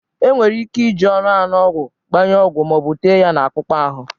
Enwere ike iji ọnụ anu ọgwụ, gbanye ọgwụ, ma ọ bụ tee ya na akpụkpọ ahụ.